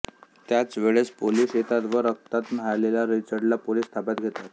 त्याच वेळेस पोलिस येतात व रक्तात न्हाहलेला रिचर्डला पोलिस ताब्यात घेतात